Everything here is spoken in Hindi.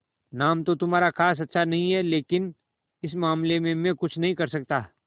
नाम तो तुम्हारा खास अच्छा नहीं है लेकिन इस मामले में मैं कुछ नहीं कर सकता